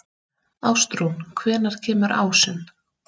Ástrún, hvenær kemur ásinn?